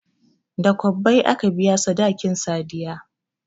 Da kwabbai aka biya sadakin sadiya